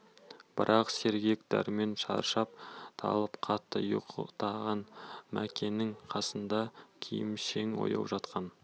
бірақ сергек дәрмен шаршап талып қатты ұйықтаған мәкеннің қасында киімшең ояу жатқан